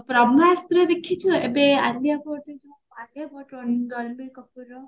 ବ୍ରହ୍ମାଅସ୍ତ୍ର ଦେଖିଚୁ ଏବେ ଆଲିଆ ଭଟ୍ଟ ରେ ଯୋଉ ଆଲିଆ ଭଟ୍ଟର ରଣବିର କାପୂରର